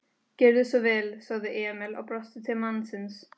Gjörðu svo vel, sagði Emil og brosti til mannsins.